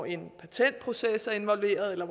en patentproces involveret eller